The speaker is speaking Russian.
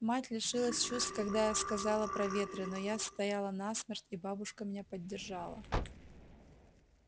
мать лишилась чувств когда я сказала про ветры но я стояла насмерть и бабушка меня поддержала